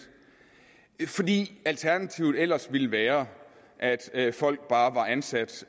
fordi alternativet ellers ville være at at folk bare var ansat